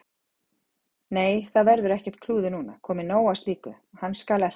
Nei, það verður ekkert klúður núna, komið nóg af slíku. hann skal elta